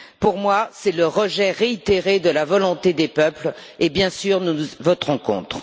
Pour moi, c'est le rejet réitéré de la volonté des peuples et, bien sûr, nous voterons contre.